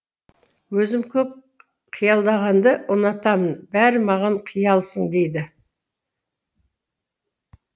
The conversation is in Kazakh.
өзім көп қиялдағанды ұнатамын бәрі маған қиялсың дейді